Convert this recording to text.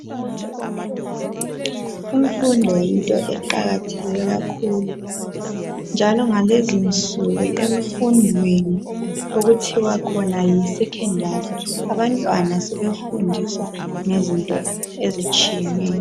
Imfundo yinto eqakatheke kakhulu njalo ngalezinsuku emfundweni okuthiwa khona yi Secondary abantwana sebefundiswa ngezinto ezitshiyeneyo.